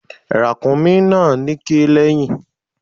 Ràkúnmí náà níké lẹ́yìn.